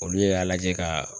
Olu y'a lajɛ ka